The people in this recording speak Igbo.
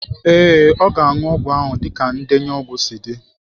Ee, ọ ga-aṅụ ọgwụ ahụ dịka ndenye ọgwụ si dị.